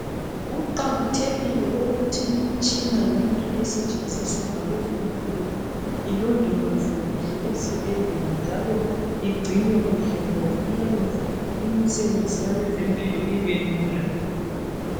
Kuqakathekile ukuthi imitshina yonke esetshenziswa ngabezempilakahle ilondolozwe kuhle ezibhedlela njalo igcinwe kuhle ngoba iyayenza umsebenzi wabo ubelula.